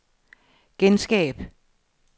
genskab